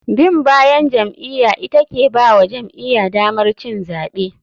Bin bayan jam'iya ita ke bawa jam'iya damar cin zaɓe.